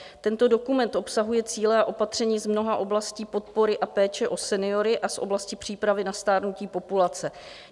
Tento dokument obsahuje cíle a opatření z mnoha oblastí podpory a péče o seniory a z oblasti přípravy na stárnutí populace.